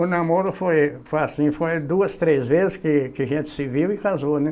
O namoro foi assim, foi duas, três vezes que que a gente se viu e casou, né?